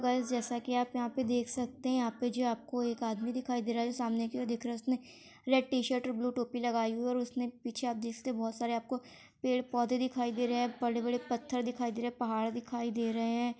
Guys जैसा कि आप यहाँ पे देख सकते हैं यहाँ पे जो है आपको एक आदमी दिखाई दे रहा है जो सामने की ओर देख रहा है उसने रेड टी-शर्ट और ब्लू टोपी लगाई हुई है ओर उसने पीछे आप देख सकते है बहुत सारे आपको पेड़-पौधे दिखाई दे रहे हैं बड़े-बड़े पत्थर दिखाई दे रहे हैं पहाड़ दिखाई दे रहे हैं।